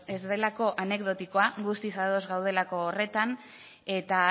ez delako anekdotikoa guztiz ados gaudelako horretan eta